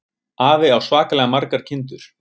Afi á svakalega margar kindur.